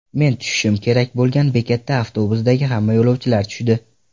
Men tushishim kerak bo‘lgan bekatda avtobusdagi hamma yo‘lovchilar tushdi.